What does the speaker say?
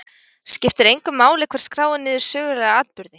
Skiptir engu máli hver skráir niður sögulega atburði?